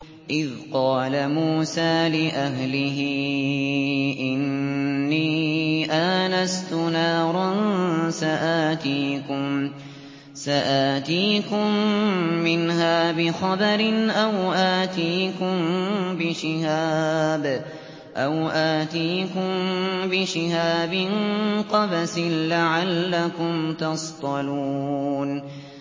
إِذْ قَالَ مُوسَىٰ لِأَهْلِهِ إِنِّي آنَسْتُ نَارًا سَآتِيكُم مِّنْهَا بِخَبَرٍ أَوْ آتِيكُم بِشِهَابٍ قَبَسٍ لَّعَلَّكُمْ تَصْطَلُونَ